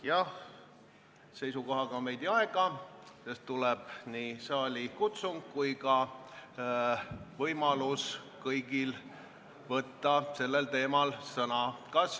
Jah, seisukohaga on veidi aega, sest tuleb saalikutsung ja kõigil on võimalus eelnõu teemal sõna võtta.